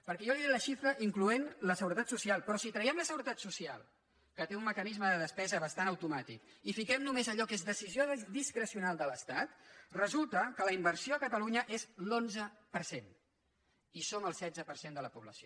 perquè jo li he dit les xifres incloent hi la seguretat social però si traiem la seguretat social que té un mecanisme de despesa bastant automàtic i hi fiquem només allò que és decisió discrecional de l’estat resulta que la inversió a catalunya és l’onze per cent i som el setze per cent de la població